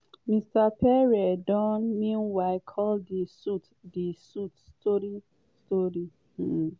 mr pierre don meanwhile call di suit di suit "story-story". um